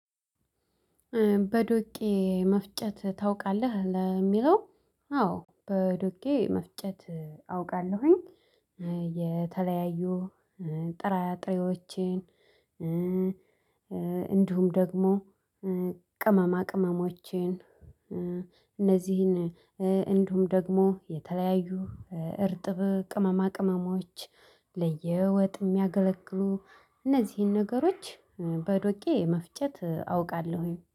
በዶቄ መፍጨት ታውቃለህ? ለሚለው አዎ በዶቄ መፍጨት አውቃለሁኝ የተለያዩ ጥራጥሬዎቼን እንዲሁም ደግሞ ቅመማቅመሞችን እህ እነዚ እንዲውም ደግሞ የተለያዩ እርጥብ ቅመማቅመሞች ለየወጥ የሚያገለግሉ እነዚህን ነገሮች በዶቄ መፍጨት አውቃለሁኝ።